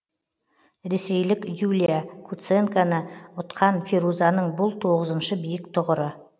ресейлік юлия куценконы ұтқан фирузаның бұл тоғызыншы биік тұғыры